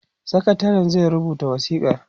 sakatarin zai rubuta wasikar